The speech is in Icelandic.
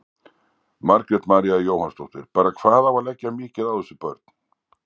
Margrét María Jóhannsdóttir: Bara hvað á að leggja mikið á þessi börn?